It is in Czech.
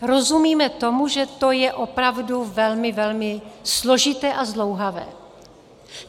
Rozumíme tomu, že to je opravdu velmi, velmi složité a zdlouhavé.